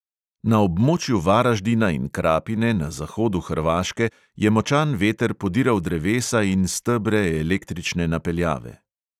Na območju varaždina in krapine na zahodu hrvaške je močan veter podiral drevesa in stebre električne napeljave.